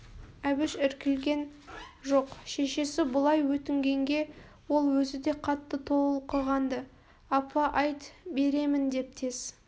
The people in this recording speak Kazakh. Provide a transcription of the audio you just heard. әбіш іркілген жоқ шешесі бұлай өтінгенге ол өзі де қатты толқыған-ды апа айт беремін деп тез